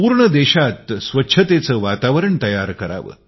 पूर्ण देशात स्वच्छतेचे वातावरण बनवावे